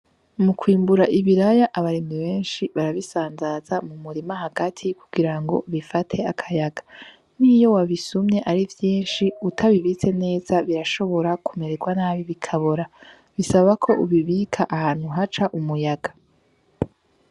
Mu kwimbura ibiraya abarimyi benshi barabisanzaza mu murima hagati kugirango bifate akayaga niyo wabisumye ari vyinshi utabibitse neza birashobora kumererwa nabi bikabora bisaba ko ubibika ahantu haca umuyaga